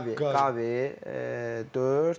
Qavi, Qavi, dörd.